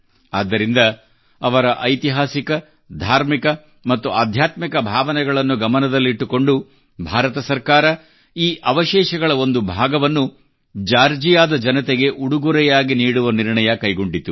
ಆದ್ದರಿಂದ ಅವರ ಐತಿಹಾಸಿಕ ಧಾರ್ಮಿಕ ಮತ್ತು ಆಧ್ಯಾತ್ಮಿಕ ಭಾವನೆಗಳನ್ನು ಗಮನದಲ್ಲಿಟ್ಟುಕೊಂಡು ಭಾರತ ಸರ್ಕಾರವು ಈ ಅವಶೇಷಗಳ ಒಂದು ಭಾಗವನ್ನು ಜಾರ್ಜಿಯಾದ ಜನತೆಗೆ ಉಡುಗೊರೆಯಾಗಿ ನೀಡುವ ನಿರ್ಣಯ ಕೈಗೊಂಡಿತು